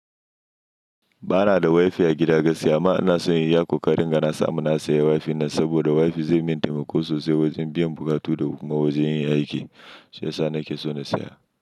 Ba na da wifi a gida gaskiya amma ina son in y iya i ƙoƙari inga na samu na saya wifi nan saboda wifi zai min taimako sosai wajen biyan buƙatu da kuma wajen yin aiki. Sai yasa nake so na saya.